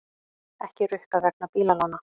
Ekki rukkað vegna bílalána